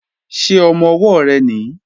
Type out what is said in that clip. Ṣé ọmọ-ọwọ́ rẹ nìí?